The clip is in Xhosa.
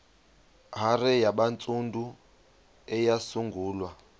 hare yabantsundu eyasungulwa